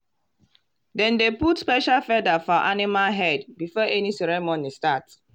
dem dey put special feather for animal head before any ceremony start.